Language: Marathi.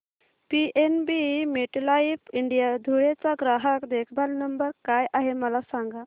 पीएनबी मेटलाइफ इंडिया धुळे चा ग्राहक देखभाल नंबर काय आहे मला सांगा